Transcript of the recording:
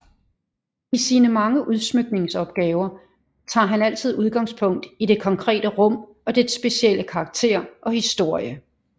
I sine mange udsmykningsopgaver tager han altid udgangspunkt i det konkrete rum og dets specielle karakter og historie